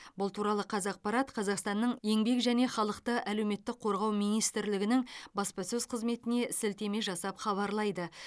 бұл туралы қазақпарат қазақстанның еңбек және халықты әлеуметтік қорғау министрлігінің баспасөз қызметіне сілтеме жасап хабарлайды